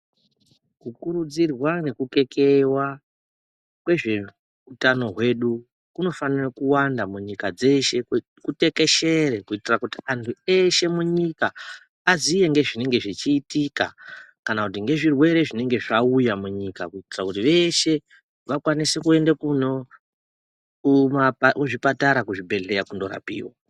Kukurudzirwa nekukekeiwa kwezveutano hwedu kunofanire kuwanda munyika dzeshe kutekeshere kuitire kuti anhu eshe munyika aziye ngezvinenge zvichiitika kana kuti ngezvirwere zvinenge zvauya munyika kuitira kuti veshe vakwanise kuende kuzvibhehleya kana zvipatara kunorapiwa.